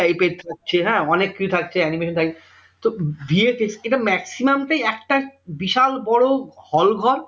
Type এর যে হ্যাঁ অনেক কিছু থাকছে animation থাকছে তো bfx টা maximum টাই একটা বিশাল বড় hall ঘর